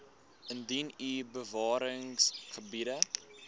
indien u bewaringsgebiede